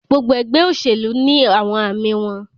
Gbogbo ẹgbẹ oṣelu ni awọn aami wọn